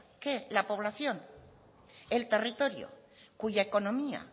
que la población el territorio cuya economía